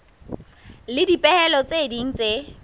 le dipehelo tse ding tse